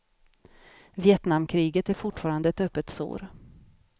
Vietnamkriget är fortfarande ett öppet sår.